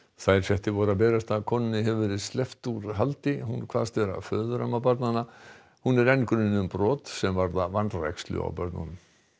þær fréttir voru að berast að konunni hefur verið sleppt úr haldi hún kveðst vera föðuramma barnanna hún er enn grunuð um brot sem varða vanrækslu á börnunum